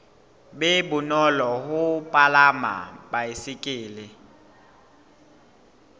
be bonolo ho palama baesekele